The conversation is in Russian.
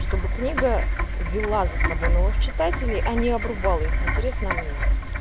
чтобы книга вела за собой новых читателей а не обрубала интерес на мне